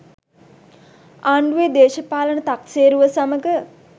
ආණ්ඩුවේ දේශපාලන තක්සේරුව සමග